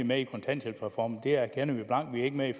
med i kontanthjælpsreformen det erkender vi blankt vi er ikke med i